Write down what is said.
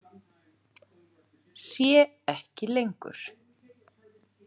Sé ekki lengur.